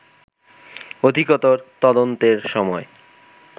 অধিকতর তদন্তের সময়ে